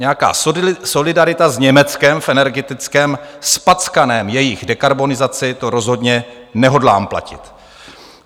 Nějaká solidarita s Německem v energetické zpackané jejich dekarbonizaci, to rozhodně nehodlám platit.